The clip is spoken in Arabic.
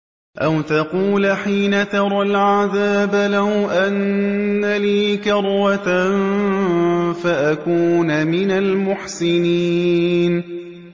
أَوْ تَقُولَ حِينَ تَرَى الْعَذَابَ لَوْ أَنَّ لِي كَرَّةً فَأَكُونَ مِنَ الْمُحْسِنِينَ